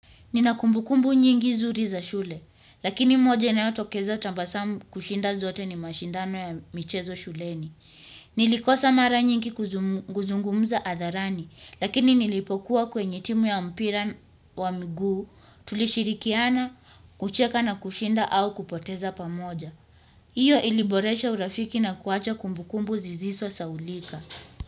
Nina kumbukumbu nyingi zuri za shule, lakini moja inayotokeza tabasamu kushinda zote ni mashindano ya michezo shuleni. Nilikosa mara nyingi kuzungumza hadharani, lakini nilipokuwa kwenye timu ya mpira wa miguu, tulishirikiana, kucheka na kushinda au kupoteza pamoja. Hiyo iliboresha urafiki na kuwacha kumbukumbu zisizosahaulika.